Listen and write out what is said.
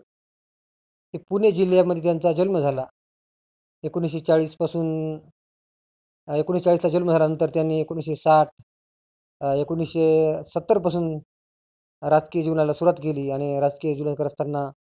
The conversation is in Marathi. हे पुणे जिल्ह्यामध्ये त्यांचा जन्म झाला. एकोनिसशे चाळीस पासून अं एकोनिसशे चाळीस ला जन्म झाल्यानंतर त्यांनी एकोनिसशे साठ अं एकोनिसशे सत्तर पासून राजकीय जिवनाला सुरुवात केली. आणि राजकीय जिवन करताना